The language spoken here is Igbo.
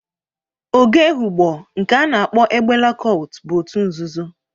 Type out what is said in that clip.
Ogo Ehụgbọ, nke a na-akpo egbela kọlt bụ otu nzụzụ.